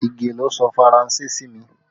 Ige ló sọ Faranse sí mi